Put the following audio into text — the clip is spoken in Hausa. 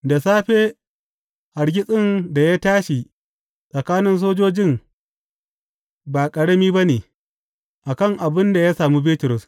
Da safe, hargitsin da ya tashi tsakanin sojojin ba ƙarami ba ne, a kan abin da ya sami Bitrus.